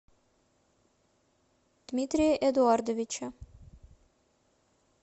дмитрия эдуардовича